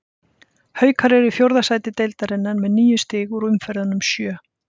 Haukar eru í fjórða sæti deildarinnar með níu stig úr umferðunum sjö.